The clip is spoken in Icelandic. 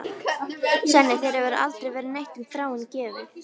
Svenni, þér hefur aldrei verið neitt um Þráin gefið.